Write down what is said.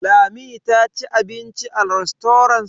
Lami ta ci abinci a rastorant?